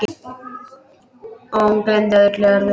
Og hún gleymdi öllu öðru.